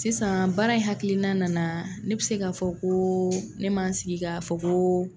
Sisan baara in hakilina nana ne bɛ se ka fɔ ko ne man n sigi ka fɔ ko